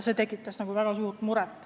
See tegi väga murelikuks.